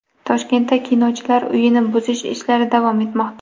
Toshkentda Kinochilar uyini buzish ishlari davom etmoqda.